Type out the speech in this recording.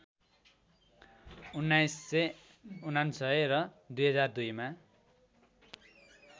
१९९९ र २००२ मा